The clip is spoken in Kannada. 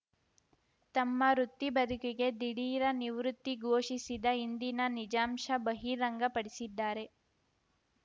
ತಮ್ಮ ವೃತ್ತಿಬದುಕಿಗೆ ದಿಢೀರ ನಿವೃತ್ತಿ ಘೋಷಿಸಿದ ಹಿಂದಿನ ನಿಜಾಂಶ ಬಹಿರಂಗ ಪಡಿಸಿದ್ದಾರೆ